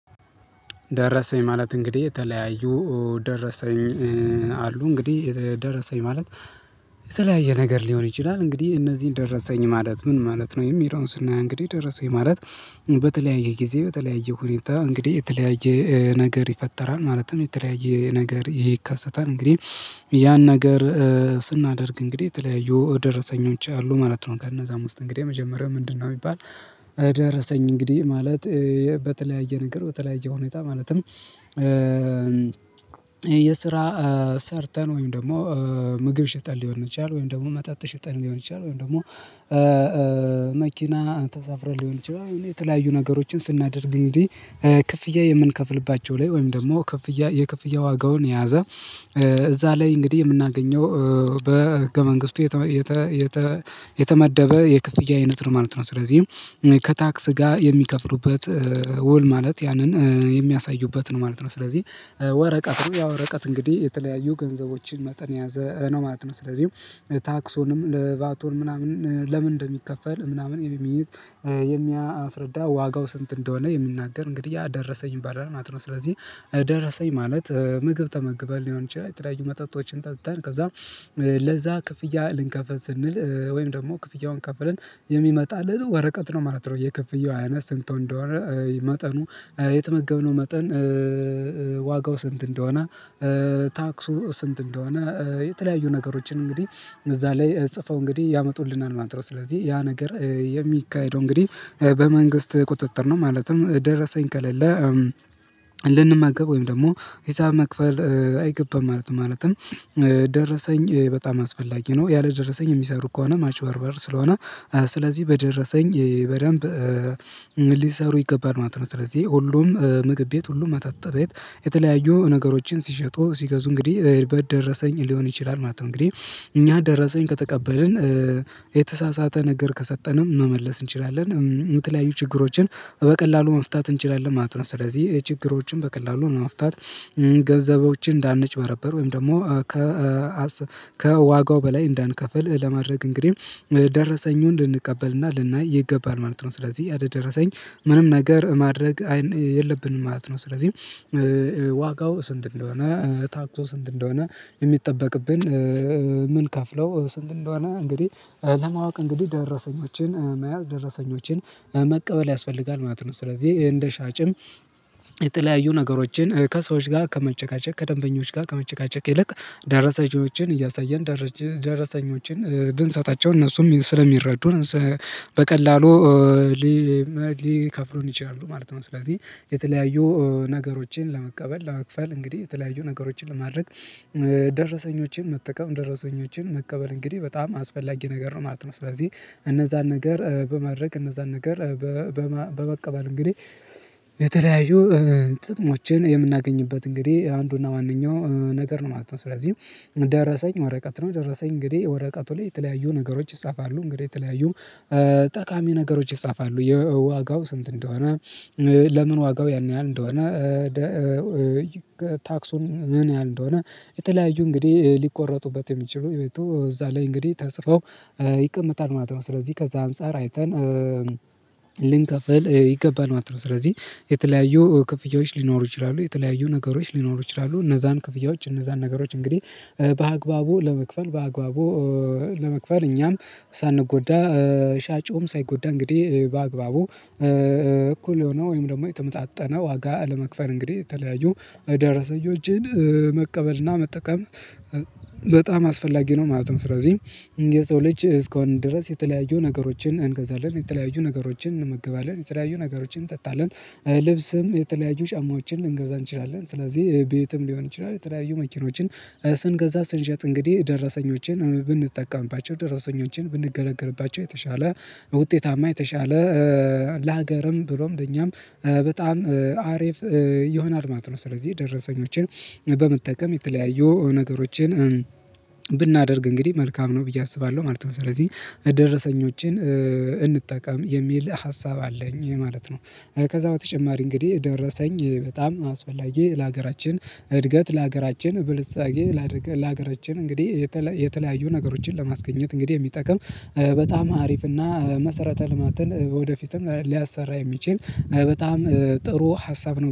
ደረሰኝ ማለት እንግዲህ የተለያዩ ደረሰኝ አሉ እንግዲህ ደረሰኝ ማለት የተለያየ ነገር ሊሆን ይችላል እንግዲህ እነዚህን ደረሰኝ ማለት ምን ማለት ነው? የሚለውን ስናየው እንግዲህ ደረሰኝ ማለት በተለያየ ጊዜ በተለያየ ሁኔታ እንግዲህ የተለያየ ነገር ይፈጠራል ማለትም የተለያየ ነገር ይከሰታል። እንግዲህ ያን ነገር ስናደርግ እንግዲህ የተለያዩ ደረሰኞች አሉ ማለት ነው ከነዛም ውስጥ እንግዲህ የመጀመሪያው ምንድነው ሚባል? ደረሰኝ እንግዲህ ማለት በተለያየ ነገር በተለያየ ሁኔታ ማለትም የስራ ሰርተን ወይም ደግሞ ምግብ ሽጠን ሊሆን ይችላል ወይም ደግሞ መጠጥ ሽጠን ሊሆን ይችላል ወይም ደግሞ መኪና ተሳፍረን ሊሆን ይችላል እና የተለያዩ ነገሮችን ስናደርግ እንግዲህ ክፍያ የምንከፍልባቸው ላይ ወይም ደግሞ ክፍያ የክፍያ ዋጋውን የያዘ እዛ ላይ እንግዲህ የምናገኘው በህገ መንግስቱ የተመደበ የክፍያ አይነት ነው ማለት ነው። ስለዚህ ከታክስ ጋር የሚከፍሉበት ውል ማለት ያንን የሚያሳዩበት ነው ማለት ነው። ስለዚህ ወረቀት ያወረቀት እንግዲህ የተለያዩ ገንዘቦችን መጠን የያዘ ነው ማለት ነው። ስለዚህ ታክሶንም ለቫቶ ምናምን ለምን እንደሚከፈል ምናምን የሚይዝ የሚያስረዳ ዋጋው ስንት እንደሆነ የምናገር እንግዲህ ያ ደረሰኝ ይባላል ማለት ነው። ስለዚህ ደረሰኝ ማለት ምግብ ተመግበን ሊሆን ይችላል የተለያዩ መጠጦችን ጠጥተን ከዛ ለዛ ክፍያ ልንከፍል ስንል ወይም ደግሞ ክፍያውን ከፍለን የሚመጣልን ወረቀት ነው ማለት ነው። የክፍያው አይነት ስንት እንደወረ መጠኑ የተመገብነው መጠን ዋጋው ስንት እንደሆነ ታክሱ ስንት እንደሆነ የተለያዩ ነገሮችን እንግዲህ እዛ ላይ ጽፈው እንግዲህ ያመጡልናል ማድረግ ስለዚህ ያ ነገር የሚካሄደው እንግዲህ በመንግስት ቁጥጥር ነው። ማለትም ደረሰኝ ከሌለ ልንመገብ ወይም ደግሞ ሂሳብ መክፈል አይገባም ማለት ማለትም ደረሰኝ በጣም አስፈላጊ ነው። ያለደረሰኝ የሚሰሩ ከሆነ ማጭበርበር ስለሆነ ስለዚህ በደረሰኝ በደንብ ሊሰሩ ይገባል ማለት ነው። ስለዚህ ሁሉም ምግብ ቤት ሁሉም መጠጥ ቤት የተለያዩ ነገሮችን ሲሸጡ ሲገዙ እንግዲህ በሄድኩበት ደረሰኝ ሊሆን ይችላል ማለት ነው። እንግዲህ እኛ ደረሰኝ ከተቀበልን የተሳሳተ ነገር ከሰጠንም መመለስ እንችላለን የምትለያዩ ችግሮችን በቀላሉ መፍታት እንችላለን ማለት ነው። ስለዚህ የችግሮችን በቀላሉ መፍታት ገንዘቦችን እንዳንጭበረበር ወይም ደግሞ ከዋጋ በላይ እንዳንከፍል ለማድረግ እንግዲህ ደረሰኙን ልንቀበልና ልናይ ይገባል ማለት ነው። ስለዚህ ያደረሰኝ ምንም ነገር የለብንም ማለት ነው። ስለዚህ ዋጋው ስንት እንደሆነ ታክቶ ስንት እንደሆነ የሚጠበቅብን ምንከፍለው ስንት እንደሆነ እንግዲህ ለማወቅ እንግዲህ ደረሰኞችን መያዝ ደረሰኞችን መቀበል ያስፈልጋል ማለት ነው። ስለዚህ እንደ ሻጭም የተለያዩ ነገሮችን ከሰዎች ጋር ከመጨቃጨቅ ከደንበኞች ጋር ከመጨቃጨቅ ይልቅ ደረሰኞችን እያሳየን ደረሰኞችን ብንሰጣቸው እነሱም ስለሚረዱ በቀላሉ ሊከፍለን ይችላሉ ማለት ነው። ስለዚህ የተለያዩ ነገሮችን ለመቀበል ለመክፈል እንግዲህ የተለያዩ ነገሮችን ለማድረግ ደረሰኞቼን መጠቀም ደረሰኞችን መቀበል እንግዲህ በጣም አስፈላጊ ነገር ነው ማለት ነው። ስለዚህ እነዛን ነገር በማድረግ እነዛን ነገር በመቀበል እንግዲህ የተለያዩ ጥቅሞችን የምናገኝበት እንግዲህ አንዱና ዋነኛው ነገር ነው ማለት ነው። ስለዚህ ደረሰኝ ወረቀት ነው ደረሰኝ እንግዲህ የወረቀቱ ላይ የተለያዩ ነገሮች ይጻፋሉ እንግዲህ የተለያዩ ጠቃሚ ነገሮች ይጻፋሉ የዋጋው ስንት እንደሆነ ለምን ዋጋው ያን ያህል እንደሆነ ታክሱን ምን ያህል እንደሆነ የተለያዩ እንግዲህ ሊቆረጡበት የሚችሉ የቤቱ እዛ ላይ እንግዲህ ተጽፎ ይቀመጣል ማለት ነው። ስለዚህ ከዛ አንፃር አይተን ልንከፍል ይገባል ማለት ነው። ስለዚህ የተለያዩ ክፍያዎች ሊኖሩ ይችላሉ የተለያዩ ነገሮች ሊኖሩ ይችላሉ እነዛን ክፍያዎች እነዛን ነገሮች እንግዲህ በአግባቡ ለመክፈል በአግባቡ ለመክፈል እኛም ሳንጎዳ ሻጭውም ሳይጎዳ እንግዲህ በአግባቡ እኩል የሆነው ወይም ደግሞ የተመጣጠነ ዋጋ ለመክፈል እንግዲህ የተለያዩ ደረሰኞችን መቀበልና መጠቀም አስፈላጊ ነው ማለት ነው። ስለዚህ የሰው ልጅ እስከሆን ድረስ የተለያዩ ነገሮችን እንገዛለን የተለያዩ ነገሮችን እንመገባለን የተለያዩ ነገሮችን እንጠጣለን ልብስም የተለያዩ ሻማዎችን ልንገዛ እንችላለን ስለዚህ ቤትም ሊሆን ይችላል የተለያዩ መኪኖችን ስንገዛ ስንሸጥ እንግዲህ ደረሰኞችን ብንጠቀምባቸው ደረሰኞችን ብንገለገልባቸው የተሻለ ውጤታማ የተሻለ ለሀገርም ብሎም ለኛም አሪፍ ይሆናል ማለት ነው። ስለዚህ ደረሰኞችን በመጠቀም የተለያዩ ነገሮችን ብናደርግ እንግዲህ መልካም ነው ብዬ አስባለሁ ማለት ነው። ስለዚህ ደረሰኞችን እንጠቀም የሚል ሀሳብ አለኝ ማለት ነው። ከዛ በተጨማሪ እንግዲህ ደረሰኝ በጣም አስፈላጊ ለሀገራችን እድገት ለሀገራችን ብልጻጌ ለሀገራችን እንግዲህ የተለያዩ ነገሮችን ለማስገኘት እንግዲህ የሚጠቅም በጣም አሪፍ እና መሰረተ ልማትን ወደፊትም ሊያሰራ የሚችል በጣም ጥሩ ሀሳብ ነው